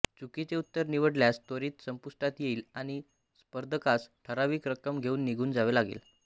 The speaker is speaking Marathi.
चुकीचे उत्तर निवडल्यास त्वरित संपुष्टात येईल आणि स्पर्धकास ठराविक रक्कम घेऊन निघून जावे लागेल